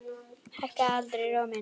Hækkaði aldrei róminn.